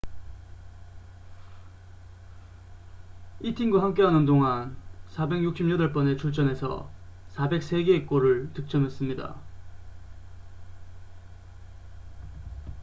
이 팀과 함께하는 동안 468번의 출전에서 403개의 골을 득점했습니다